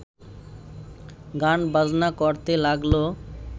গান-বাজনা করতে লাগল